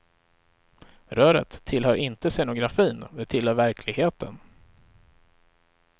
Röret tillhör inte scenografin, det tillhör verkligheten.